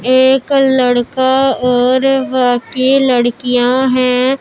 एक लड़का और बाकी लड़कियां हैं।